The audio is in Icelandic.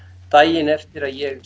daginn eftir að ég